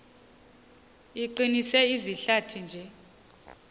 iqinise izihlathi nje